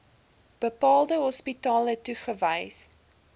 bepaalde hospitale toegewys